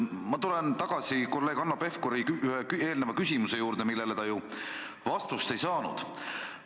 Ma tulen tagasi kolleeg Hanno Pevkuri küsimuse juurde, millele ta vastust ei saanud.